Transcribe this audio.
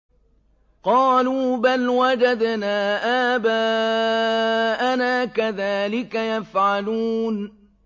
قَالُوا بَلْ وَجَدْنَا آبَاءَنَا كَذَٰلِكَ يَفْعَلُونَ